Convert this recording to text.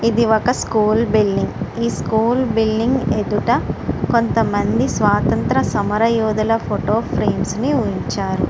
ఇది ఒక school building ఈ స్కూల్ బిల్డింగు ఎదుట కొంతమంది స్వాతంత్ర తమరి యోధుల ఫోటో ఫ్రేమ్స్ ని ఉంచారు. .>